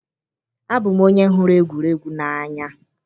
Abụ m onye hụrụ egwuregwu n'anya